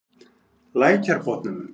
Lækjarbotnum